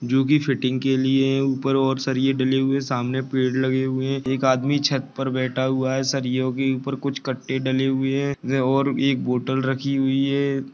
जो की फिटिंग के लिए उपर और सलिए डले हुए है। सामने पेड़ लगे हुए है। एक आदमी छत पर बेटा है। सलियों के उपर कुछ कटे डले हुए है और एक बोटेल रखी हुइ है।